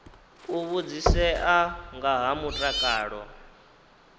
u vhudzisea nga ha mutakalo